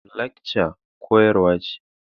Lecture koyarwa ce.